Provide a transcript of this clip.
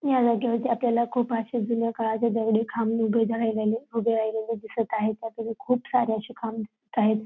या जागेवरती आपल्याला खूप असे जुन्या काळाचे दगडी खांब उभे उभे राहिलेले दिसत आहेत बाकीचे खूप सारे असे खांब दिसत आहेत.